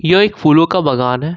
यह एक फूलों का बागान है।